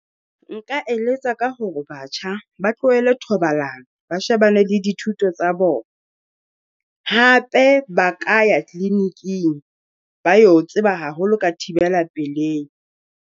Nka eletsa ka hore batjha ba tlohele thobalano, ba shebane le dithuto tsa bona. Hape ba ka ya clinic-ing ba yo tseba haholo ka thibela pelehi.